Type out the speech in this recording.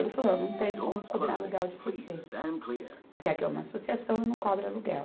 Ele falou, olha não tenho como cobrar aluguel de você, porque aqui é uma associação e não cobra aluguel.